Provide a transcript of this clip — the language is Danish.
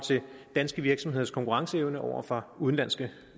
danske virksomheders konkurrenceevne over for udenlandske